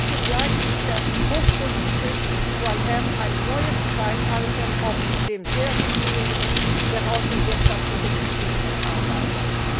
Und zugleich ist er hochpolitisch, weil er ein neues Zeitalter auf dem sehr wichtigen Gebiet der außenwirtschaftlichen Beziehungen einleitet.